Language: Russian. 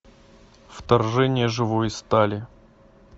вторжение живой стали